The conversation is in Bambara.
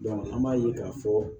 an b'a ye k'a fɔ